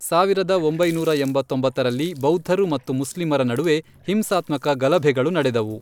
ಸಾವಿರದ ಒಂಬೈನೂರ ಎಂಬತ್ತೊಂಬತ್ತರಲ್ಲಿ, ಬೌದ್ಧರು ಮತ್ತು ಮುಸ್ಲಿಮರ ನಡುವೆ ಹಿಂಸಾತ್ಮಕ ಗಲಭೆಗಳು ನಡೆದವು.